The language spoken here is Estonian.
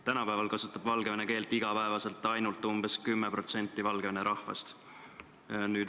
Tänapäeval kasutab valgevene keelt igapäevaselt ainult umbes 10% Valgevene rahvast.